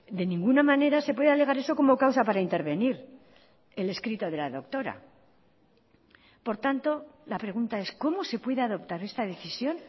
de ninguna manera se puede alegar eso como causa para intervenir el escrito de la doctora por tanto la pregunta es cómo se puede adoptar esta decisión